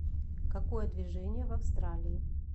какое движение в австралии